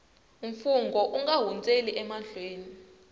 mfungho u nga hundzeli emahlweni